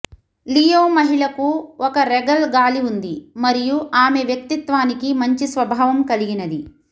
Leo మహిళకు ఒక regal గాలి ఉంది మరియు ఆమె వ్యక్తిత్వానికి మంచి స్వభావం కలిగినది